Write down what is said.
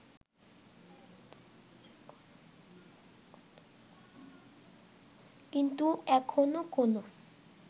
কিন্তু এখনও কোনও